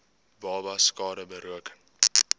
babas skade berokken